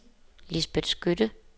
Lisbet Skytte